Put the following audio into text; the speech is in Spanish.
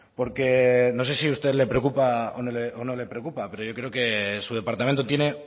porque no sé si a usted le preocupa o no le preocupa pero yo creo que su departamento tiene